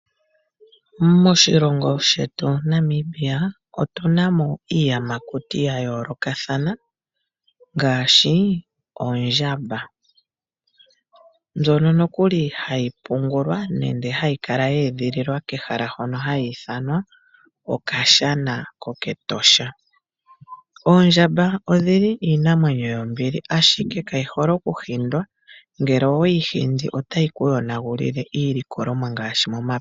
Moshilongo shetu Namibia otu na mo iiyamakuti yayolokatha, ngaashi oondjamba, mbyono nokuli hayi pungulwa nende hayi kala yee dhililwa kehala hono ha yithanwa okashana koketosha. Oondjamba odhili iinamwenyo yombili ashike kayi hole okuhindwa ngele oweyi hindi otayi kuyonagulile iilikolomwa ngaashi momapya.